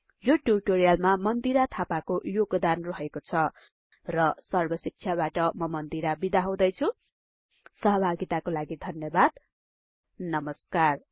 यो ट्युटोरियलमा मन्दिरा थापाको योगदान रहेको छ र सर्बशिक्षाबाट म मन्दिरा बिदा हुदैछुँ सहभागिताको लागि धन्यबाद नमस्कार